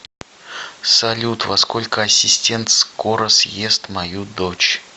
салют во сколько ассистент скоро съест мою дочь